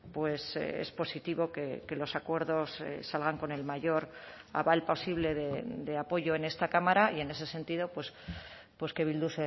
pues es positivo que los acuerdos salgan con el mayor aval posible de apoyo en esta cámara y en ese sentido pues que bildu